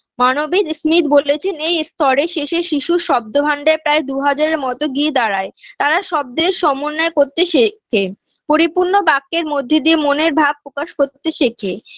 মানবিক স্মিথ বলেছেন এই স্তরের শেষে শিশুর শব্দ ভান্ডার প্রায় দু হাজারের মতো গিয়ে দাঁড়ায় তারা শব্দের সমন্বয় করতে শেখে পরিপূর্ণ বাক্যের মধ্যে দিয়ে মনের ভাব প্রকাশ করতে শেখে